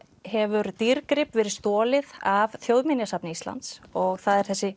hefur dýrgrip verið stolið af Þjóðminjasafni Íslands og það er þessi